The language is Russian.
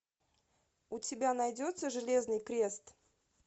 у тебя найдется железный крест